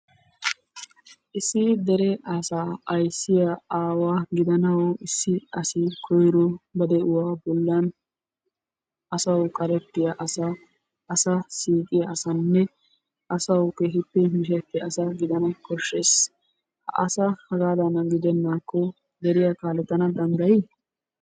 Issi dere asaa aysiya aawa gidanawu issi asi koyro ba de'uwa bollan asawu qarettiya asa asa siiqiya asanne asawu keehippe mishetiya asa gidana koshshees. Ha asa hegaadan hanidi deenaakko asaa kaalettana danddayi?